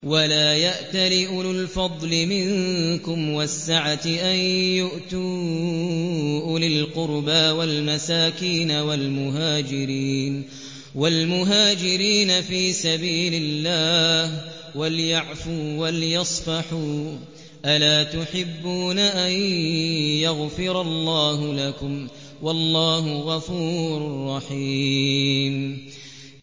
وَلَا يَأْتَلِ أُولُو الْفَضْلِ مِنكُمْ وَالسَّعَةِ أَن يُؤْتُوا أُولِي الْقُرْبَىٰ وَالْمَسَاكِينَ وَالْمُهَاجِرِينَ فِي سَبِيلِ اللَّهِ ۖ وَلْيَعْفُوا وَلْيَصْفَحُوا ۗ أَلَا تُحِبُّونَ أَن يَغْفِرَ اللَّهُ لَكُمْ ۗ وَاللَّهُ غَفُورٌ رَّحِيمٌ